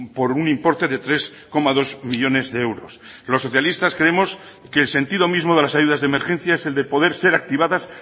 por un importe de tres coma dos millónes de euros los socialistas creemos que el sentido mismo de las ayudas de emergencia es el de poder ser activadas